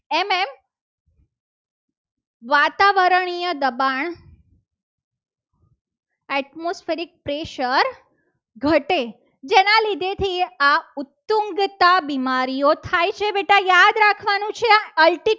વાતાવરણીય દબાણ atmospheric pressure ઘટે. જેના લીધે થી આ કુટુંબતા બીમારીઓ થાય છે બેટા યાદ રાખવાનું છે.